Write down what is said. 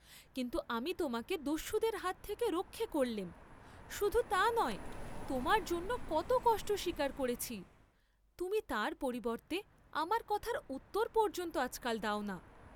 কিন্তু আমি তােমাকে দস্যুদের হাত হতে রক্ষা করলেম, শুধু তা নয়, তােমার জন্য কত কষ্ট স্বীকার করেছি, তুমি তার পরিবর্ত্তে আমার কথার উত্তর পর্য্যন্ত আজকাল দাও না?